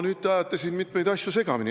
Nüüd te ajasite mitmeid asju segamini.